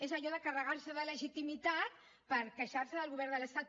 és allò de carregar se de legitimitat per queixar se del govern de l’estat